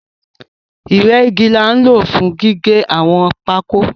Ìrẹ́gi ni a nlo fún gígé àwọn pákó